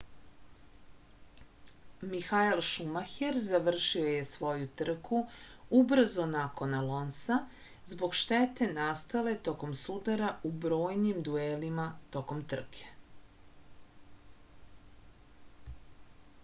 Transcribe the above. mihael šumaher završio je svoju trku ubrzo nakon alonsa zbog štete nastale tokom sudara u brojnim duelima tokom trke